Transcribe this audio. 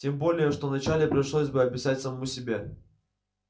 тем более что вначале пришлось бы объяснять самому себе